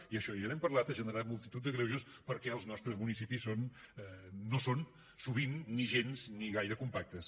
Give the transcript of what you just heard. i això ja n’hem parlat ha generat multitud de greuges perquè els nostres municipis no són sovint ni gens ni gaire compactes